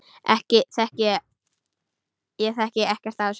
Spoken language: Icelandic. Ég þekki ekkert af þessu.